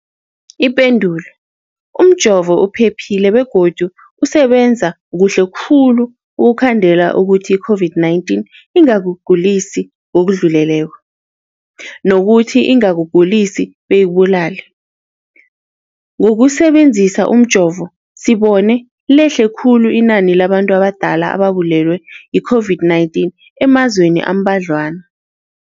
Ipendulo, umjovo uphephile begodu usebenza kuhle khulu ukukhandela ukuthi i-COVID-19 ingakugulisi ngokudluleleko, nokuthi ingakugulisi beyikubulale. Ngokusebe nzisa umjovo, sibone lehle khulu inani labantu abadala ababulewe yi-COVID-19 emazweni ambadlwana.